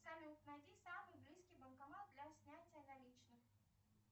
салют найди самый близкий банкомат для снятия наличных